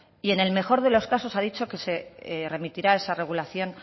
y en el mejor de los casos ha dicho que se remitirá esa regulación